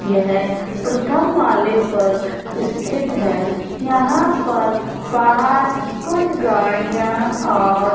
यह प्रथम माले पर स्थित है। यहां पर बाहर कुछ गाड़ियां और --